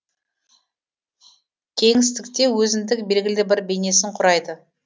кеңістікте өзіндік белгілі бір бейнесін құрайды